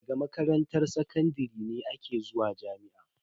Daga makaranta sakandare ne aka zuwa jami'a.